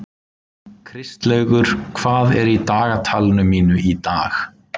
Kristlaugur, hvað er í dagatalinu mínu í dag?